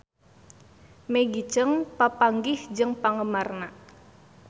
Maggie Cheung papanggih jeung penggemarna